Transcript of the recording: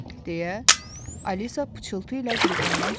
deyə Alisa pıçıltı ilə Qrifondan soruşdu.